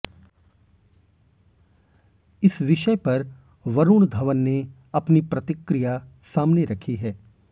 इस विषय पर वरुण धवन ने अपनी प्रतिक्रिया सामने रखी है